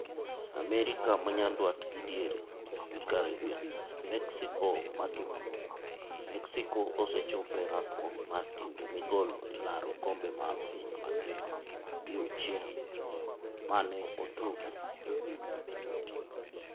AMERIKA MA NYANDWAT GI DIERE gi CARIBBEAN Mexico Matuklu: Mexico osechopo e rakruok mar timbe migolo e laro okombe mar piny ngima diuchiel mane otugi.